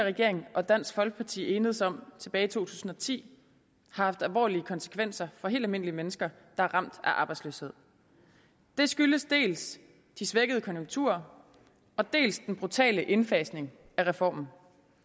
regering og dansk folkeparti enedes om tilbage tusind og ti har haft alvorlige konsekvenser for helt almindelige mennesker der er ramt af arbejdsløshed det skyldes dels de svækkede konjunkturer dels den brutale indfasning af reformen